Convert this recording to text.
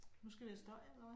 Nu skal vi have støj eller hvad